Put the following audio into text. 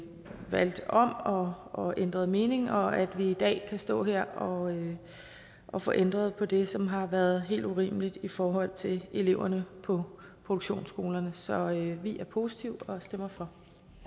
valgt om og og ændret mening og at vi i dag kan stå her og og få ændret på det som har været helt urimeligt i forhold til eleverne på produktionsskolerne så vi er positive og stemmer for